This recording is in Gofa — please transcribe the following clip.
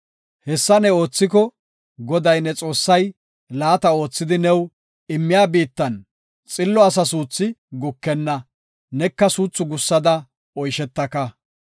Hessa ne oothiko, Goday, ne Xoossay laata oothidi new immiya biittan xillo asa suuthi gukenna; neka suuthi gussada oyshetaka.